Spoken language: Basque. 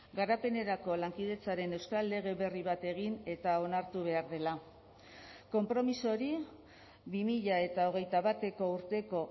garapenerako lankidetzaren euskal lege berri bat egin eta onartu behar dela konpromiso hori bi mila hogeita bateko urteko